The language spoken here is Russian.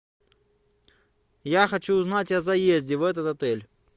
я хочу узнать о заезде в этот отель